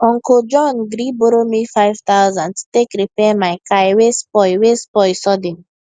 uncle john gree borrow me five thousand to take repair my car wey spoil wey spoil sudden